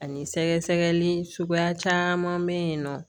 Ani sɛgɛsɛgɛli suguya caman bɛ yen nɔ